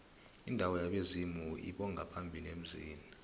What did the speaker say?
indawo yabezimu lbongaphambili emzini